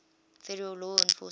federal law enforcement